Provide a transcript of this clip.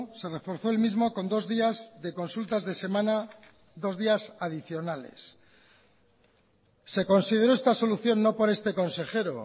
se reforzó el mismo con dos días de consultas de semana dos días adicionales se consideró esta solución no por este consejero